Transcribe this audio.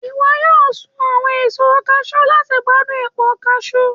iwọ yọọ sún awọn èso kajú lati gbadun épà kajú